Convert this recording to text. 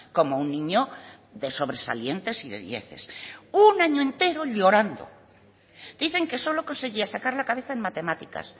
como un niño de sobresalientes y de dieces un año entero llorando dicen que solo conseguía sacar la cabeza en matemáticas